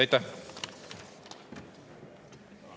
Aitäh!